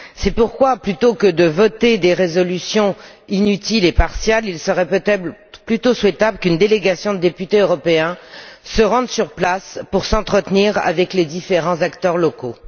C'est pourquoi, plutôt que de voter des résolutions inutiles et partiales, il serait peut être plus souhaitable qu'une délégation de députés européens se rende sur place pour s'entretenir avec les différents acteurs locaux.